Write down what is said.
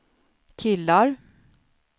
killar